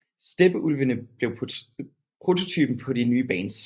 Steppeulvene blev prototypen på de nye bands